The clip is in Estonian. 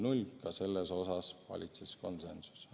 Ka selles osas valitses konsensus.